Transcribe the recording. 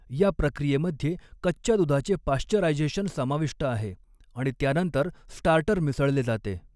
या प्रक्रियेमध्ये कच्च्या दुधाचे पाश्चरायझेशन समाविष्ट आहे आणि त्यानंतर स्टार्टर मिसऴले जाते.